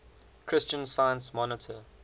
christian science monitor